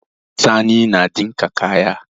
Sani na ɗinka kaya.